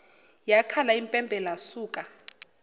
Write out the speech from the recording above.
yakhala impempe lasuka